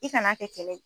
I kan'a kɛ kɛlɛ ye